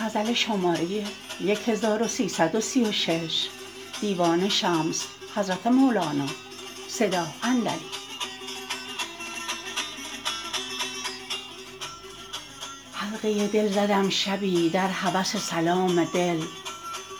حلقه دل زدم شبی در هوس سلام دل